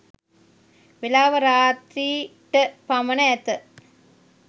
වේලාව රාත්‍රි .ට පමණ ඇත.